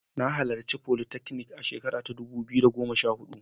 Na halarci folytechnic a shekara ta dubu biyu da goma sha huɗu.